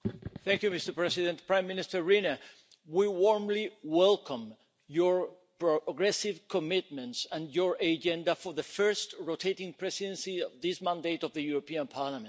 Mr President, Prime Minister Rinne, we warmly welcome your aggressive commitments and your agenda for the first rotating presidency of this mandate of the European Parliament.